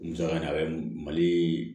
Musaka nin a bɛ mali